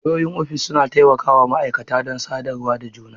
Wayoyin ofis suna taimaka wa ma'aikata don sadarwa da juna.